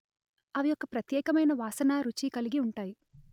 అవి ఓ ప్రత్యేకమైన వాసన రుచి కలిగి ఉంటాయి